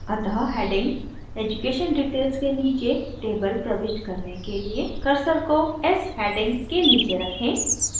अतः heading education details के नीचे table प्रविष्ट करने के लिए cursor को एस heading के नीचे रखें